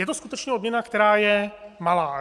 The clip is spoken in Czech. Je to skutečně odměna, která je malá.